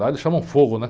Lá eles chamam fogo, né?